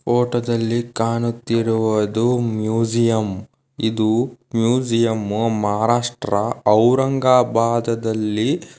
ಫೋಟೋದಲ್ಲಿ ಕಾಣುತ್ತಾ ಇರುವುದು ಮ್ಯೂಜಿಯಂ ಇದು ಮ್ಯೂಜಿಯಂ ಮಹಾರಾಷ್ಟ್ರ ಔರಂಗಾಬಾದದಲ್ಲಿ--